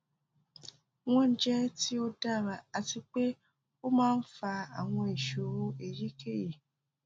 wọn jẹ ti o dara ati pe o maa n fa awọn iṣoro eyikeyi